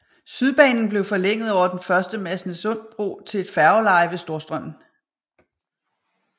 Sydbanen blev forlænget over den første Masnedsundbro til et færgeleje ved Storstrømmen